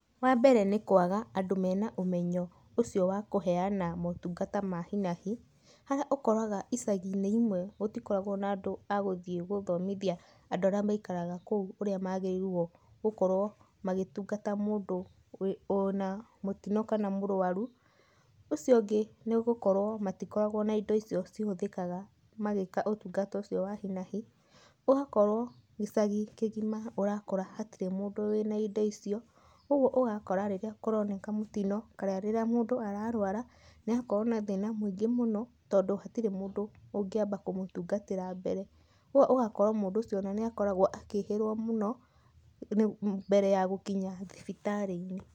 Wa mbere nĩ kwaga andũ mena ũmenyo ucio wa kũheana motungata wa hi na hi, harĩa ũkoraga icagi-inĩ imwe gũtikoragũo na andũ a gũthomithia andũ arĩa maikaraga kũu ũrĩa magĩrĩirũo gũkorwo magĩtungata mũndũ wĩna mũtino kana mũrũaru. Ũcio ũngĩ nĩ gũkorwo matikoragwo na indo icio cihũthĩkaga magĩĩka ũtungata ucio wa hi na hi. Ũgakorwo gicagi kĩgima ũrakora hatĩrĩ mũndũ wĩna indo icio, ũguo ũgakora rĩrĩa kũroneka mũtino kana rĩrĩa mũndũ ararũara, nĩ arakorwo na thĩna mũingĩ mũno tondu hatirĩ mũndũ ũngĩamba kũmũtungatĩra mbere. Koguo ũgakora mũndũ ũcio ona nĩ akoragwo akĩĩhĩrwo mũno mbere ya gũkinya thibitarĩ-inĩ.